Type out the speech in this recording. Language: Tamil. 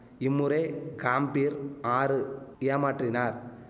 இம்முறை காம்பிர் ஆறு ஏமாற்றினார்